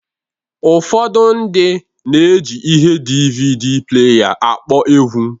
Ụfọdụ ndị na-eji ihe DvD pleya akpọ egwu